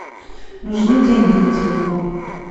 нужны деньги на телефон